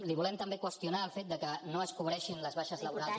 li volem també qüestionar el fet que no es cobreixin les baixes laborals